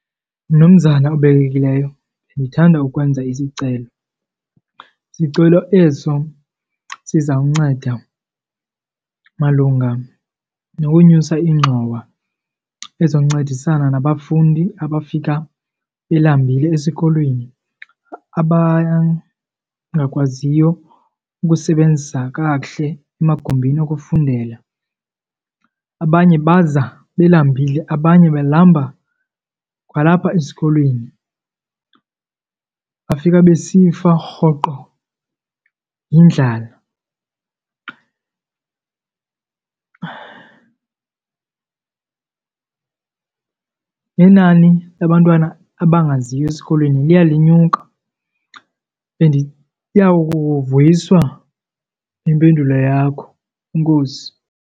Mnumzana obekekileyo, ndithanda ukwenza isicelo, sicelo eso sizawunceda malunga nokunyusa ingxowa ezoncedisana nabafundi abafika belambile esikolweni abangakwaziyo ukusebenzisa kakuhle emagumbini okufundela. Abanye baza belambile abanye balamba kwalapha esikolweni, bafika besifa rhoqo yindlala. Inani labantwana abangaziyo esikolweni liya linyuka, bendiya kuvuyiswa yimpendulo yakho. Enkosi.